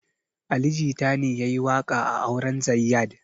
Ali jita ne yayi waƙa a auren zayyad